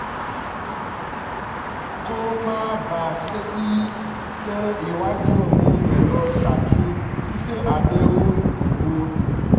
kó o má bàa ṣàṣìṣe ṣe ìwádìí ohun èlò ṣáájú ṣíṣe àdéhùn owó